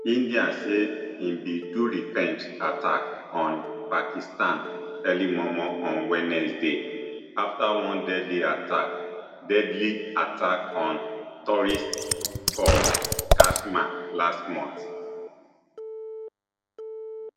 india say im bin do revenge attack on pakistan early momo on wednesday afta one deadly attack deadly attack on tourists for kashmir last month